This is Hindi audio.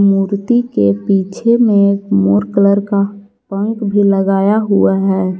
मूर्ति के पीछे में मोर कलर का पंख भी लगाया हुआ है।